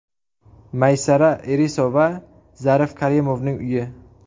Maysara Irisova Zarif Karimovning uyi.